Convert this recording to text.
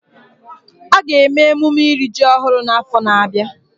A ga-eme emume iri ji ọhụrụ n'afọ na-abịa